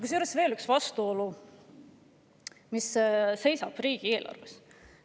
Kusjuures riigieelarves seisab veel üks vastuolu.